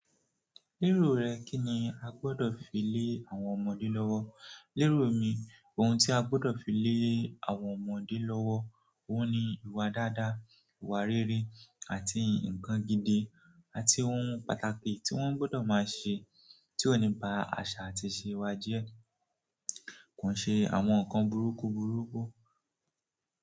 Lero rẹ, kí ni a gbọ́dọ̀ fi lé àwọn ọmọdé lọ́wọ́? Lérò mi, ohun tí a gbọ́dọ̀ fi lé àwọn ọmọdé lọ́wọ́, óun ni ìwà dáadáa, ìwà rere àti ǹkan gidi àti ohun pàtàkì tí wọ́n gbọ́dọ̀ máa ṣe tí ó ní ba aṣa àti ìṣe wà jẹ̀. Ko n ṣe àwọn nǹkan burúkú burúkú.